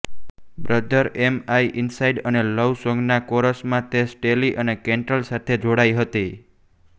brother am I inside અને love સોંગના કોરસમાં તે સ્ટેલી અને કેન્ટ્રેલ સાથે જોડાઇ હતી